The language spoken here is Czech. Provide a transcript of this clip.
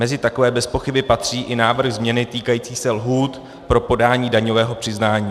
Mezi takové bezpochyby patří i návrh změny týkající se lhůt pro podání daňového přiznání.